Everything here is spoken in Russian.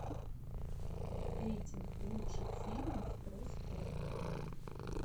рейтинг лучших фильмов про спорт